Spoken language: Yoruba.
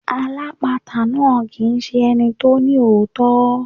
Alápatà náà kì ń ṣe ẹni tó ní òótọ́.